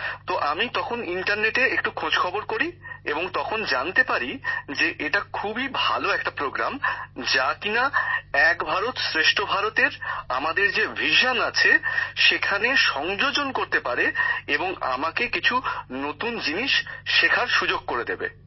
তো আমি তখন ইন্টারনেটে একটু খোঁজখবর করি এবং তখনই জানতে পারি যে এটা খুবই ভালো একটি কর্মসূচী যা কিনা এক ভারত শ্রেষ্ঠ ভারতের আমাদের যে পরিকল্পনা আছে সেখানে সংযোজন করতে পারে এবং আমাকে কিছু নতুন বিষয় শেখার সুযোগ করে দেবে